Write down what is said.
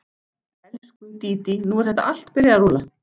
Elsku, Dídí, nú er þetta allt byrjað að rúlla.